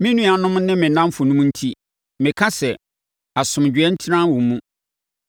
Me nuanom ne me nnamfonom enti, meka sɛ, “Asomdwoeɛ ntena wo mu.”